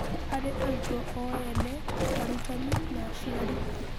Harĩ arutwo o ene, arutani na aciari.